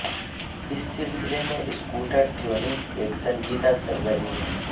اس سلسلے میں scooter tuning ایک سنجیدہ سرگرمی ہے